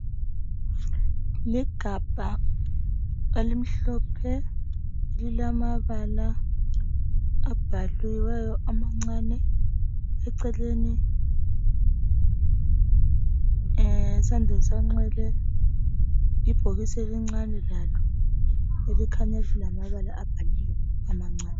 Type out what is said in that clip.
Ligabha elimhlophe elilamabala abhaliweyo amancani eceleni esandleni sonxele ibhokisi elincane lalo elikhanya lilamabala abhaliwe amancani